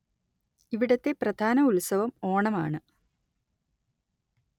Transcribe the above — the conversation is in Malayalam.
ഇവിടത്തെ പ്രധാന ഉത്സവം ഓണം ആണ്